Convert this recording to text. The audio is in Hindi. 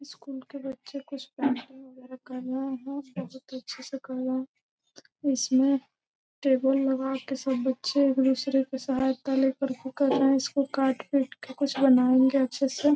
स्कूल के बच्चे कुछ पेंटिंग वगैरा कर रहे हैं। इसमें टेबुल लगा के सब बच्चे एक दूसरे के सहायता ले करके कर रहे हैं। उसको काट पीट के कुछ बनाएंगे अच्छे से।